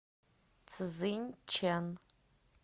цзиньчэн